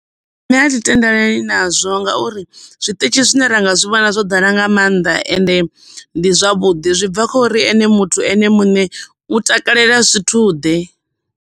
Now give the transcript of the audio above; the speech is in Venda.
Nṋe athi tendelani nazwo ngauri zwiṱitshi zwine ra nga zwi vhona zwo ḓala nga maanḓa, ende ndi zwavhuḓi zwi bva khori muthu ene muṋe u takalela zwithu ḓe.